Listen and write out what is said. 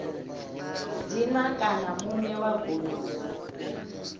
dzina kana muṋe wa goloi